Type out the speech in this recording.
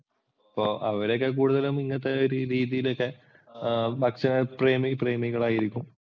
അപ്പോൾ അവരൊക്കെ കൂടുതലും ഇങ്ങനത്തെ രീതിയിലൊക്കെ ഭക്ഷണ പ്രേമികളായിരിക്കും.